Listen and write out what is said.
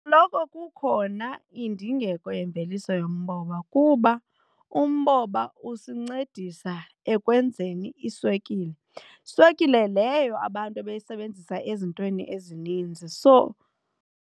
Loko kukhona indingeko yemveliso yomboba kuba umboba usincedisa ekwenzeni iiswekile, swekile leyo abantu ebayisebenzisa ezintweni ezininzi so.